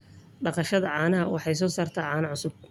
Dhaqashada caanaha waxay soo saartaa caano cusub.